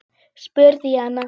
spurði ég hana.